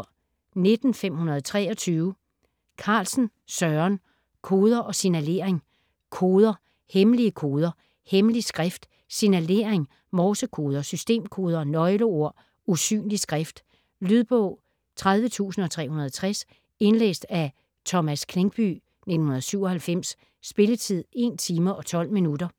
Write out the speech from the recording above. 19.523 Carlsen, Søren: Koder og signalering Koder, hemmelige koder, hemmelig skrift, signalering, morsekoder, systemkoder, nøgleord, usynlig skrift. Lydbog 30360 Indlæst af Thomas Klinkby, 1997. Spilletid: 1 timer, 12 minutter.